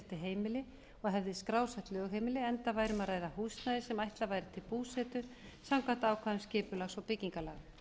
heimili og hefði skrásett lögheimili enda væri um að ræða húsnæði sem ætlað væri til búsetu samkvæmt ákvæðum skipulags og byggingarlaga